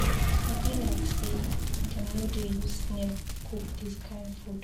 E be like say dem no dey use snail cook dis kin food.